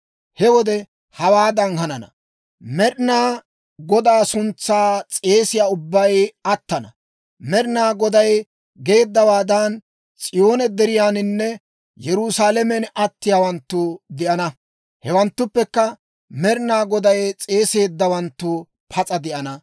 He wode hawaadan hanana; Med'inaa Godaa suntsaa s'eesiyaa ubbay attana. Med'inaa Goday geeddawaadan, S'iyoone Deriyaaninne Yerusaalamen attiyaawanttu de'ana. Hewanttuppekka Med'inaa Goday s'eeseeddawanttu pas'a de'ana.»